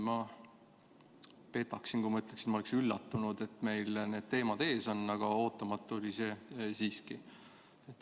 Ma petaksin, kui ma ütleksin, nagu ma oleksin üllatunud, et meil need teemad ees on, aga ootamatu oli see siiski.